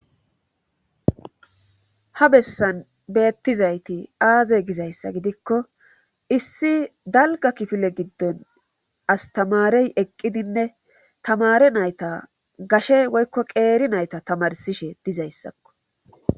ha bessan beettizayti aaze gizayssa gidikko issi dalga kifile giddon astamarey eqqidinne tamare nayta gashe woykko qeeri nayta tamarsishe dizayssakko